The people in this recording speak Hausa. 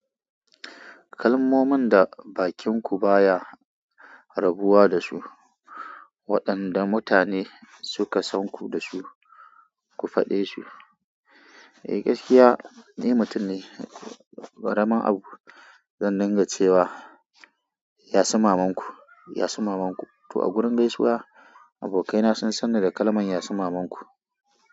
Kalmomin da bakinku baya rabuwa da su, waɗanda mutane suka san ku da su, ku faɗe su. Eh gaskiya, ni mutum ne gwara ma au zan ringa cewa "Yasu mamanku, yasu mamanku" to a gurin gaisuwa. Abokaina sun sanni da kalmar ya su mamanku.